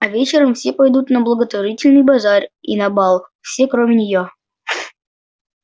а вечером все пойдут на благотворительный базар и на бал все кроме неё